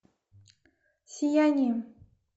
сияние